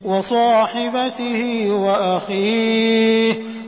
وَصَاحِبَتِهِ وَأَخِيهِ